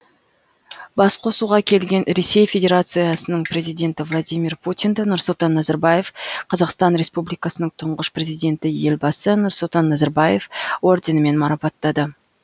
басқосуға келген ресей федерациясының президенті владимир путинді нұрсұлтан назарбаев қазақстан республикасының тұңғыш президенті елбасы нұрсұлтан назарбаев орденімен марапаттады